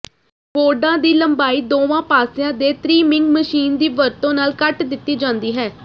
ਬੋਰਡਾਂ ਦੀ ਲੰਬਾਈ ਦੋਵਾਂ ਪਾਸਿਆਂ ਦੇ ਤ੍ਰਿਮਿੰਗ ਮਸ਼ੀਨ ਦੀ ਵਰਤੋਂ ਨਾਲ ਕੱਟ ਦਿੱਤੀ ਜਾਂਦੀ ਹੈ